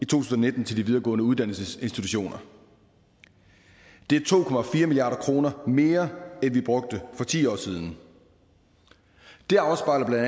tusind og nitten til de videregående uddannelsesinstitutioner det er to milliard kroner mere end vi brugte for ti år siden det afspejler bla at